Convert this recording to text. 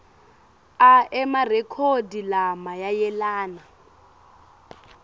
a emarekhodi lamayelana